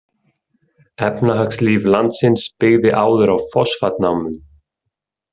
Efnahagslíf landsins byggði áður á fosfatnámum.